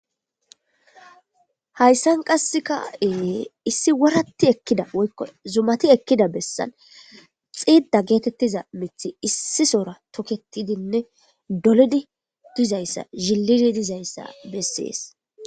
hayssan qasseka e issi wuratti ekkida woykko zumati ekkida bessan xiidda geetettiza mithi issisora toketidinne dolodi dizayssa zhillidi dizayssa bessees